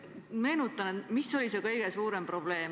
Meenutan, mis oli kõige suurem probleem.